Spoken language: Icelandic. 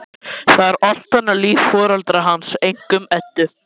Það er allt annað líf fyrir foreldra hans, einkum Eddu.